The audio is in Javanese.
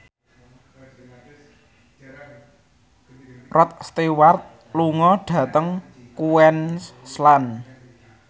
Rod Stewart lunga dhateng Queensland